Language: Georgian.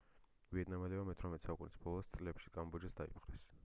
ვიეტნამელებმა მე-18 საუკუნის ბოლო წლებში კამბოჯაც დაიპყრეს